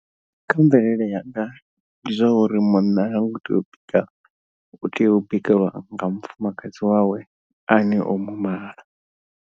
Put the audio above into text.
Kha mvelele yanga ndi zwa uri munna ha ngo tea u bika u tea u bikelwa nga mufumakadzi wawe ane o mu mala.